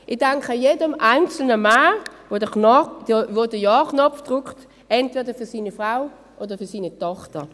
Ich danke jedem einzelnen Mann, der den Ja-Knopf drückt, entweder für seine Frau oder für seine Tochter.